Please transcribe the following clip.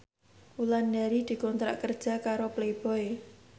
Wulandari dikontrak kerja karo Playboy